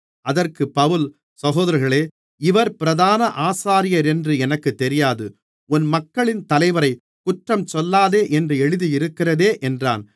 அதற்குப் பவுல் சகோதரர்களே இவர் பிரதான ஆசாரியரென்று எனக்குத் தெரியாது உன் மக்களின் தலைவரை குற்றம் சொல்லாதே என்று எழுதியிருக்கிறதே என்றான்